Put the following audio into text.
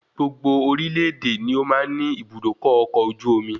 Gbogbo orílè èdè ni ó máa ń ni Ibùdókọ̀ ọkọ̀ ojú omi